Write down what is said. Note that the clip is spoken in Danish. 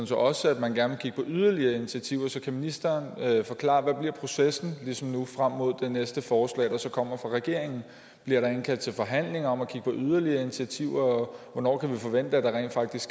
så også at man gerne vil kigge på yderligere initiativer så kan ministeren forklare hvad processen frem mod det næste forslag der så kommer fra regeringen bliver der indkaldt til forhandlinger om at kigge på yderligere initiativer og hvornår kan vi forvente at der rent faktisk